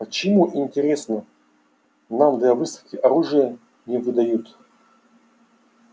почему интересно нам для выставки оружие не выдают